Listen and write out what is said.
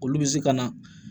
Olu bɛ se ka na